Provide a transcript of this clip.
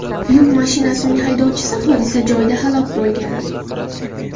Yuk mashinasining haydovchisi hodisa joyida halok bo‘lgan.